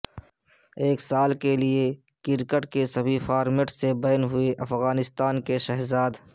ایک سال کیلئے کرکٹ کے سبھی فارمیٹ سے بین ہوئے افغانستان کے شہزاد